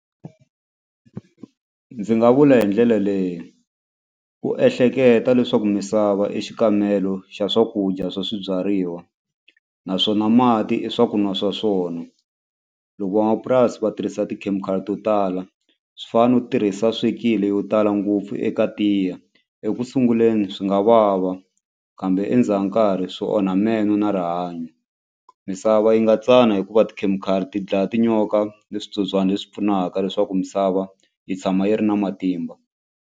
Ndzi nga vula hi ndlela leyi ku ehleketa leswaku misava i xikamelo xa swakudya swa swibyariwa naswona mati i swa ku nwa swa swona loko van'wamapurasi va tirhisa ti-chemical to tala swi fanele u tirhisa swikile yo tala ngopfu eka tiya ekusunguleni swi nga vava kambe endzhaku karhi swo onha meno na rihanyo misava yi nga tsana hikuva tikhemikhali ti dlaya tinyoka ni switsotswana leswi pfunaka leswaku misava yi tshama yi ri na matimba.